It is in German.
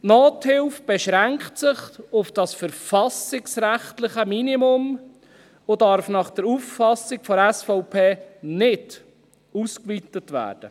Die Nothilfe beschränkt sich auf das verfassungsrechtliche Minimum und darf nach Auffassung der SVP nicht ausgeweitet werden.